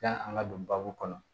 Yani an ka don babu kɔnɔ